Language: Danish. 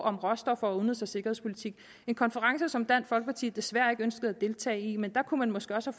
om råstoffer og udenrigs og sikkerhedspolitik en konference som dansk folkeparti desværre ikke ønskede at deltage i men der kunne man måske også